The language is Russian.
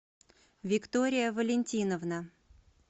виктория валентиновна